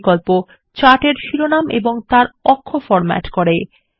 title বিকল্প chart এর শিরোনাম এবং তার অক্ষ ফরম্যাট করে